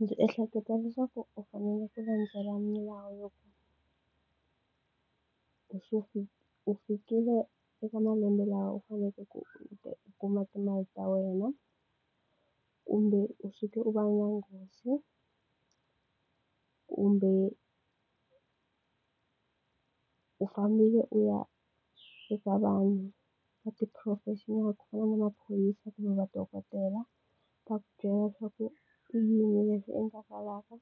Ndzi ehleketa leswaku u fanele u landzelela milawu ya ku u fikile eka u faneleke ku u u kuma timali ta wena, kumbe u suke u va na nghozi, kumbe u fambile u ya eka vanhu va ti-professional ku fana na maphorisa kumbe madokodela ta ku byela leswaku i yini leswi endlekalaka